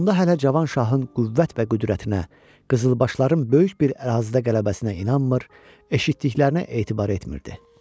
Onda hələ Cavan şahın qüvvət və qüdrətinə, qızılbaşların böyük bir ərazidə qələbəsinə inanmır, eşitdiklərinə etibar etmirdi.